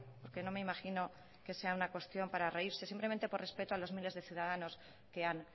porque no me imagino que sea una cuestión para reírse simplemente por respeto a los miles de ciudadanos que han